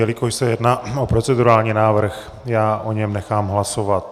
Jelikož se jedná o procedurální návrh, já o něm nechám hlasovat.